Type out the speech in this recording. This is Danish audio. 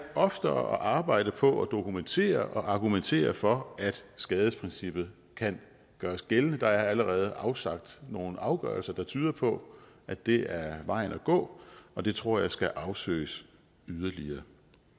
oftere at arbejde på at dokumentere og argumentere for at skadesprincippet kan gøres gældende der er allerede afsagt nogle afgørelser der tyder på at det er vejen at gå og det tror jeg skal afsøges yderligere